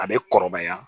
A bɛ kɔrɔbaya